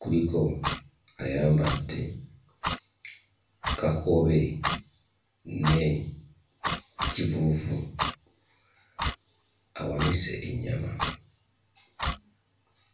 kuliko ayambadde kakobe ne kivuuvu awanise ennyama.